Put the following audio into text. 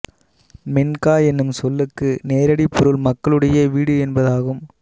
மின்கா என்னும் சொல்லுக்கு நேரடிப் பொருள் மக்களுடைய வீடு என்பதாகும்